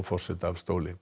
forseta af stóli